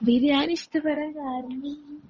ബിരിയാണി ഇഷ്ടപ്പെടാൻ കാരണം